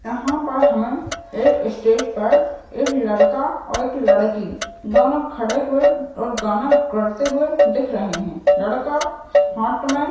यहाँ पर हमे एक स्टेज पर एक लड़का और एक लड़की दोनों खड़े हुए और गाना गाते हुए दिख रहे है लड़का हाथ मे--